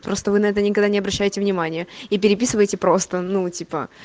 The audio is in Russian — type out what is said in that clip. просто вы на это никогда не обращайте внимания и переписываюсь и просто ну типа